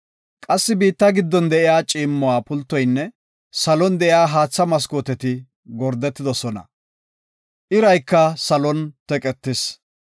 Qassi biitta giddon de7iya ciimmuwa pultoynne salon de7iya haatha maskooteti gordetidosona; irayka salon teqetis.